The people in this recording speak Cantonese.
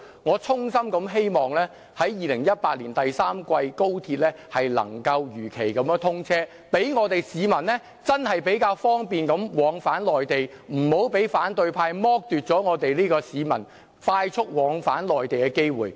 我衷心希望高鐵能夠在2018年第三季如期通車，讓市民較方便地往返內地，不要被反對派剝奪市民快速往返內地的機會。